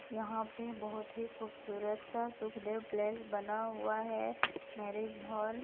यहां पे बहुत ही खूबसूरत सा सुखदेव प्लेस बना हुआ है मैरिज हॉल।